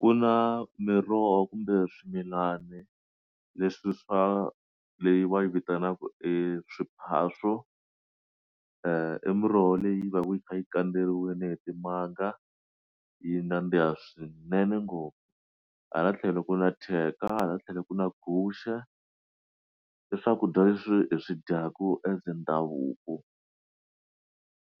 Ku na miroho kumbe swimilani leswi swa leyi va yi vitanaka eswiphaso e muroho leyi va yi kha yi kandzeriwile hi timanga yi nandziha swinene ngopfu hala tlhelo ku na thyeka hala tlhelo ku na guxe i swakudya leswi hi swi dyaku as ndhavuko